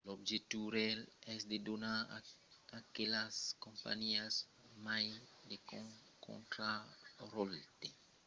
l'objectiu real es de donar a aquelas companhiás mai de contraròtle sus lors mercats; tot vira a l'entorn de l'argent